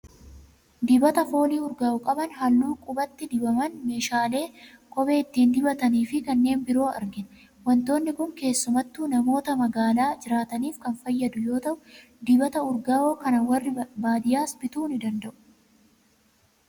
Dibata foolii urgaa'u qaban, halluu qubatti dibaman, meeshaalee kophee ittiin dibatanii fi kanneen biroo argina. Waantonni kun keessumattuu namoota magaalaa jiraataniif kan fayyadu yoo ta'u, dibata urgaa'oo kana warri baadiyaas bituu ni danda'u.